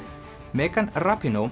megan